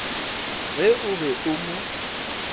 ge o be o mo